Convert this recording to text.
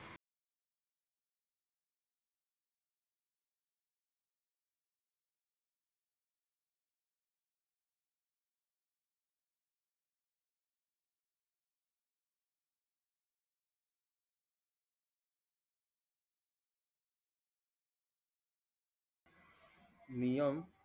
नियम